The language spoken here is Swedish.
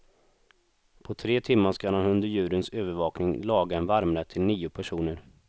På tre timmar skall han under juryns övervakning laga en varmrätt till nio personer.